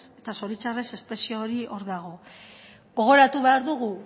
eta zori txarrez espresio hori hor dago gogoratu behar dugu